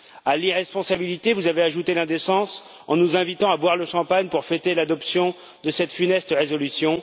À l'irresponsabilité, vous avez ajouté l'indécence, en nous invitant à boire le champagne pour fêter l'adoption de cette funeste résolution.